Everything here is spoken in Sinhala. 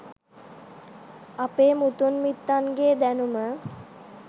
අපේ මුතුන් මිත්තන්ගේ දැනුම